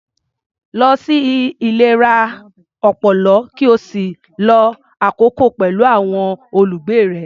Lọ sí ilé ìlera ọpọlọ, ki ó sì lo àkokò pẹ̀lú àwọn olùgbé rẹ̀.